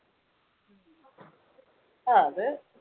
അഹ് അത്.